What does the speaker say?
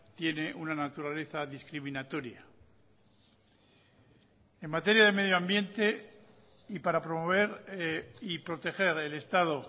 tiene una naturaleza discriminatoria en materia de medio ambiente y para promover y proteger el estado